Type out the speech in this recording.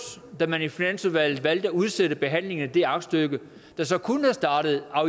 da man i finansudvalget valgte at udsætte behandlingen af det aktstykke der så kunne have startet